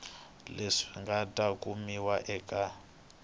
leswi nga ta kumiwa eka